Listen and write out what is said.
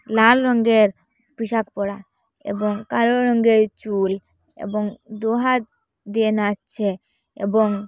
নাল রঙ্গের টি-শার্ট পরা এবং কালো রঙ্গের চুল এবং দু হাত দিয়ে নাচছে এবং--